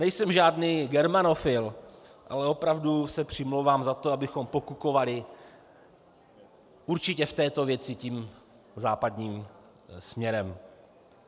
Nejsem žádný germanofil, ale opravdu se přimlouvám za to, abychom pokukovali určitě v této věci tím západním směrem.